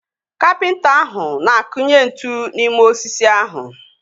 Kapịnta ahụ na-akunye ntu n'ime osisi ahụ